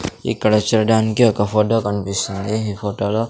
ఇక్కడ చూడటానికి ఒక ఫోటో కనిపిస్తుంది ఈ ఫోటో లో --